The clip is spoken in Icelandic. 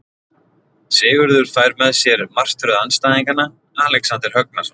Sigurður fær með sér martröð andstæðingana Alexander Högnason.